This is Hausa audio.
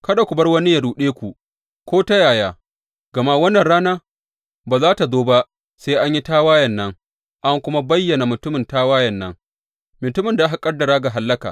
Kada ku bar wani yă ruɗe ku ko ta yaya, gama wannan rana ba za tă zo ba sai an yi tawayen nan an kuma bayyana mutumin tawayen nan, mutumin da aka ƙaddara ga hallaka.